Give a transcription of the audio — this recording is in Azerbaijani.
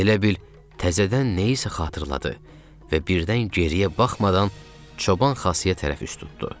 Elə bil təzədən nəyisə xatırladı və birdən geriyə baxmadan Çoban Xasıya tərəf üz tuttu.